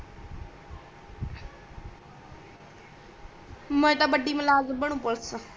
ਮੈਂ ਤਾ ਬਡ਼ੀ ਮਲਾਜ ਬਣੂ ਪੁਲਿਸ ਚ